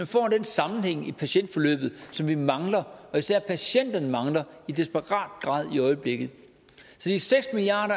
får den sammenhæng i patientforløbet som vi mangler og som især patienterne mangler i desperat grad i øjeblikket så de seks milliard